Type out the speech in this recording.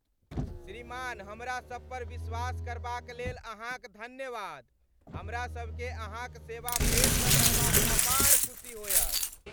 श्रीमान हमरा सबपर विश्वास करबाक लेल अहाँक धन्यवाद। हमरा सभकेँ अहाँक सेवा फेरसँ करबामे अपार खुशी होयत।